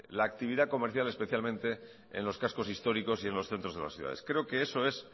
la actividad comercial especialmente en los cascos históricos y en los centros de las ciudades creo que eso es